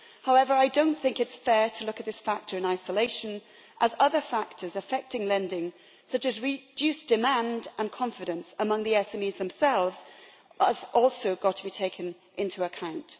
However, I do not think it is fair to look at this factor in isolation, as other factors affecting lending, such as reduced demand and confidence among the SMEs themselves, have also got to be taken into account.